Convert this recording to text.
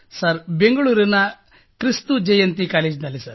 sir ಬೆಂಗಳೂರಿನ ಕ್ರಿಸ್ತುಜಯಂತಿ ಕಾಲೇಜಿನಲ್ಲಿ